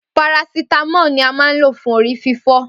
Parasítámọ ni a ma ńlo fún orí fífọ́